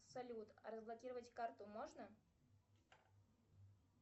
салют разблокировать карту можно